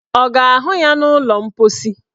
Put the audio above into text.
Ọ ga-ahụ ya n' ụlọ mposi?